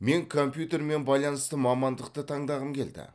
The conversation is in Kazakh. мен компьютермен байланысты мамандықты таңдағым келді